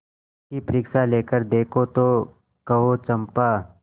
उसकी परीक्षा लेकर देखो तो कहो चंपा